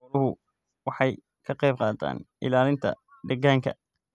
Xooluhu waxay ka qayb qaataan ilaalinta deegaanka.